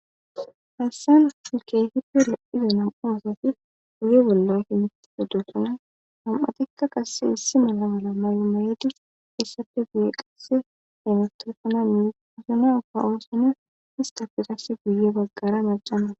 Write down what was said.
Hassan milkehippe lo7ida nam7u oosati guye bolla himit odosana ham7atikka qasse issi mala mala may7o mayedi heessape guye qasse haymatesana miisi usanaaka oosane hista pirase guye baggara majcana.